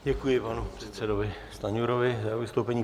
Děkuji panu předsedovi Stanjurovi za vystoupení.